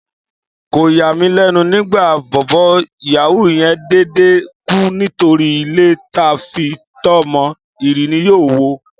Kò yà mí lẹ́nu nígbà bọ̀bọ́ yàwúù yen dédé kú nítorí ilé ta fi itọ́ mọ, ìrì ni yóò wo